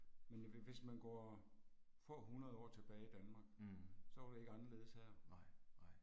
Men hvis man går få 100 år tilbage i Danmark, så var det ikke anderledes her